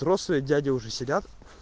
взрослые дяди уже сидят